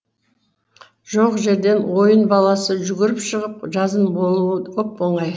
жоқ жерден ойын баласы жүгіріп шығып жазым болуы оп оңай